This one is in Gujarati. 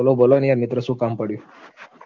બોલો બોલો ને યાર મિત્ર શું કામ પડ્યું